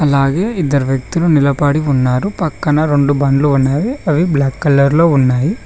అలాగే ఇద్దరు వ్యక్తులు నిలబడి ఉన్నారు పక్కన రెండు బండ్లు ఉన్నాయి అవి బ్లాక్ కలర్ లో ఉన్నాయి.